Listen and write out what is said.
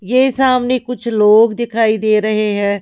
ये सामने कुछ लोग दिखाई दे रहे हैं।